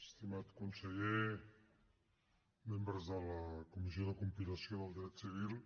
estimat conseller membres de la comissió de compilació del dret civil